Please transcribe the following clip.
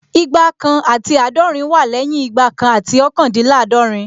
Igba kan àti àádọ́rin wá lẹ́yìn Igba kan àti ọ́kàndínláàdọ̀rín